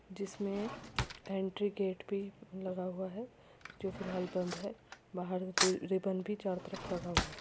जिसमे entry gate पे लगा हुआ है जो फिलहाल बंद है। बाहर से रिबन भी चारों तरफ लगा हुआ है।